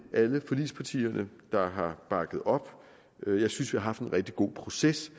alle forligspartierne der har bakket op jeg synes vi har haft en rigtig god proces